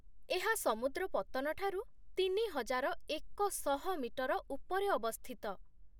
ଏହା ସମୁଦ୍ର ପତ୍ତନ ଠାରୁ ତିନିହଜାର ଏକଶହ ମିଟର ଉପରେ ଅବସ୍ଥିତ